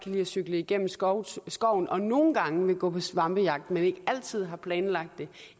lide at cykle gennem skoven skoven og nogle gange vil gå på svampejagt men ikke altid har planlagt det